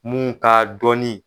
Mun ka dɔnni